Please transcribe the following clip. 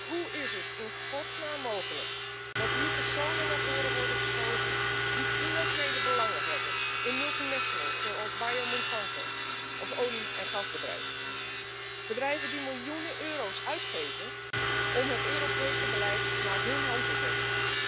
Hoe is het in godsnaam mogelijk dat hier personen naar voren worden geschoven die financiële belangen hebben in multinationals zoals Bayer Monsanto of olie en gasbedrijven, bedrijven die miljoenen euro's uitgeven om het Europese beleid naar hun hand te zetten?